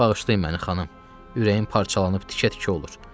Bağışlayın məni, xanım, ürəyim parçalanıb tikə-tikə olur.